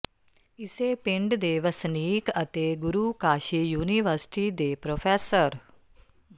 ਇਸੇ ਪਿੰਡ ਦੇ ਵਸਨੀਕ ਅਤੇ ਗੁਰੂ ਕਾਸ਼ੀ ਯੂਨੀਵਰਸਿਟੀ ਦੇੇ ਪ੍ਰੋ